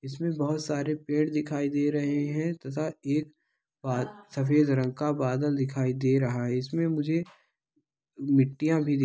इसमें बहुत सारे पेड़ दिखाई दे रहे हैं तथा एक बाद सफेद रंग का बादल दिखाई दे रहा है इसमें मुझे मिट्टियां भी --